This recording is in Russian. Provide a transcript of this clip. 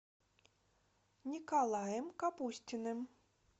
николаем капустиным